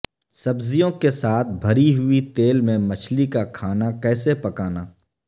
سبزیوں کے ساتھ بھری ہوئی تیل میں مچھلی کا کھانا کیسے پکانا